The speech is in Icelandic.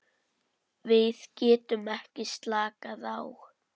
Við getum ekki slakað á.